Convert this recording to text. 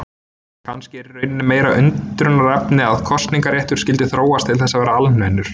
Kannski er í rauninni meira undrunarefni að kosningaréttur skyldi þróast til þess að verða almennur.